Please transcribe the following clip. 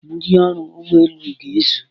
Ndị ọrụ ụgbọelu ga-ezu.